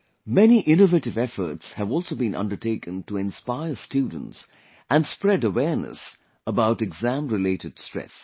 Many innovative efforts have also been undertaken to inspire students and spread awareness about exam related stress